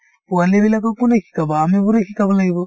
পোৱালিবিলাকক কোনে শিকাব আমিবোৰে শিকাব লাগিব